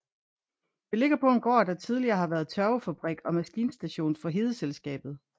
Det ligger på en gård der tidligere har været tørvefabrik og maskinstation for Hedeselskabet